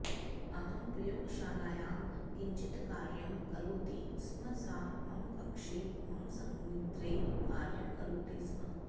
अहं प्रयोगशालायां किञ्चित् कार्यं करोति स्म सा मम कक्षे मम सङ्गणित्रे कार्यं करोति स्म